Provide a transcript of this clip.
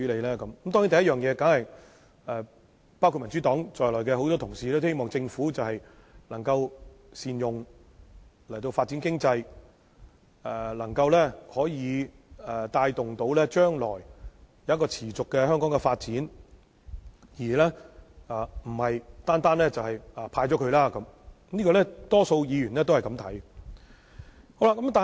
當然，第一，包括民主黨在內的很多同事都希望政府能夠善用盈餘發展經濟，以及能夠帶動香港將來持續發展而不是單單"派錢"，這是大部分議員的想法。